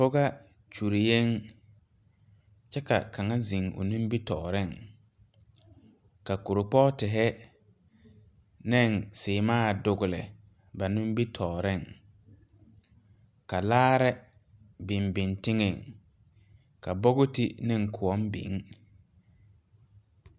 Pɔgaa kyureyeŋ kyɛ ka kaŋa zeŋ o nimitooreŋ ka kuripɔɔtihi neŋ sèèmaa a dugle a nimbitooreŋ ka laare biŋ biŋ teŋɛŋ ka bogiti neŋ kõɔ biŋ.